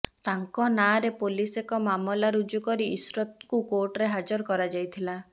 ତାଙ୍କ ନାଁରେ ପୋଲିସ ଏକ ମାମଲା ରୁଜୁ କରି ଇଶରତଙ୍କୁ କୋର୍ଟରେ ହାଜର କରାଯାଇଥିଲା